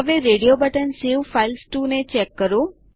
હવે radio button save files to ને check કરો